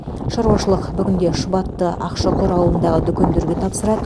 шаруашылық бүгінде шұбатты ақшұқыр ауылындағы дүкендерге тапсырады